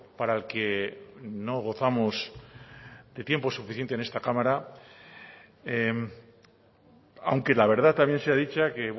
para el que no gozamos de tiempo suficiente en esta cámara aunque la verdad también sea dicho que